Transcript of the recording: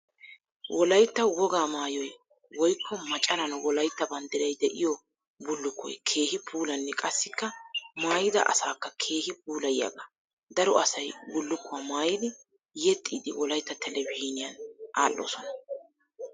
Wolaytta wogaa maayoy woykko macaran Wolaytta banddiray de"iyo bullukkoy keehi puulannne qassikka maayida asaakka keehi puulayiyaagaa. Daro asay bullukkuwaa maayidi yexxiiddi Wolaytta telebizhzhiiniyan aadhdhoosona.